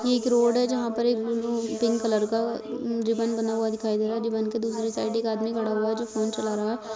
ये एक रोड है। जहाँ पर एक ब्लू पिंक कलर का रिबन बना हुआ दिखाई दे रहा है। रिबिन के दूसरी साइड एक आदमी खड़ा हुआ जो फोन चला रहा --